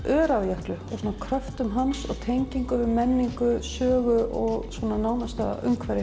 Öræfajökli kröftum hans og tengingu við menningu sögu og nánasta umhverfi